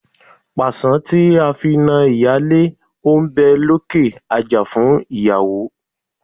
Pàṣán tí a fi na ìyálé ó ń lókè àjà fún ìyàwó.